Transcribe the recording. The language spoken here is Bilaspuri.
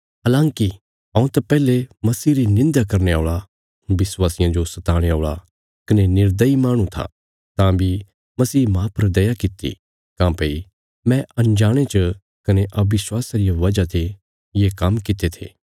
हलाँकि हऊँ त पैहले मसीह री निंध्या करने औल़ा विश्वासियां जो सताणे औल़ा कने निर्दयी माहणु था तां बी मसीह माह पर दया कित्ती काँह्भई मैं अनजाणे च कने अविश्वावासा रिया वजह ने ये काम्म कित्ते थे